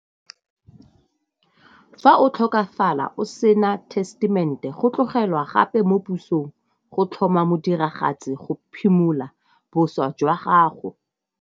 Fa o tlhokafala o sena testament-e go tlogelwa gape mo pusong go tlhoma mo diragatse go phimola boswa jwa gago.